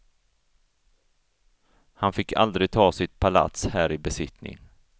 Han fick aldrig ta sitt palats här i besittning.